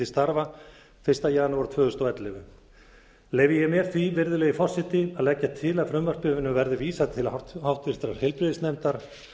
til starfa fyrsta janúar tvö þúsund og ellefu leyfi ég mér því virðulegi forseti að leggja til að frumvarpinu verði vísað til háttvirtrar heilbrigðisnefndar